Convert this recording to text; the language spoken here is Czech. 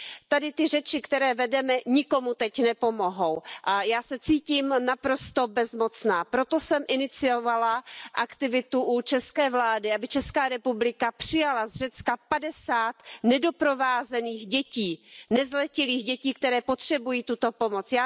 Tady ty řeči, které vedeme, nikomu teď nepomohou a já se cítím naprosto bezmocná. Proto jsem iniciovala aktivitu u české vlády, aby Česká republika přijala z Řecka 50 nedoprovázených dětí, nezletilých dětí, které potřebují tuto pomoc.